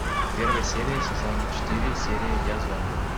первая серия сезон четыре серия я зомби